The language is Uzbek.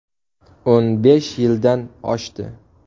O‘n besh yildan oshdi.